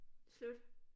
Slut